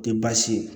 Tɛ baasi ye